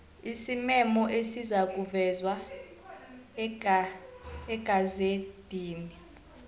isimemo esizakuvezwa egazedini